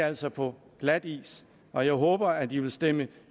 altså på glatis og jeg håber at de vil stemme